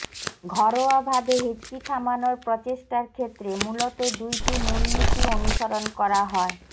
ঘরোয়াভাবে হেঁচকি থামানোর প্রচেষ্টার ক্ষেত্রে মূলত দুইটি মূলনীতি অনুসরণ করা হয়